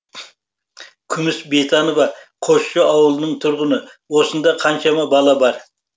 күміс бейтанова қосшы ауылының тұрғыны осында қаншама бала бар